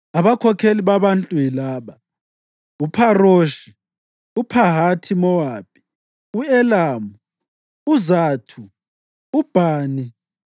Abakhokheli babantu yilaba: uPharoshi, uPhahathi-Mowabi, u-Elamu, uZathu uBhani,